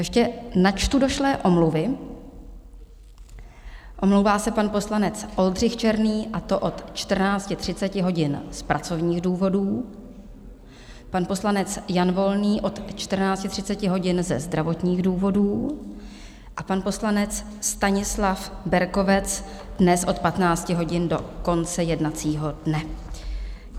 Ještě načtu došlé omluvy: omlouvá se pan poslanec Oldřich Černý, a to od 14.30 hodin z pracovních důvodů, pan poslanec Jan Volný od 14.30 hodin ze zdravotních důvodů a pan poslanec Stanislav Berkovec dnes od 15 hodin do konce jednacího dne.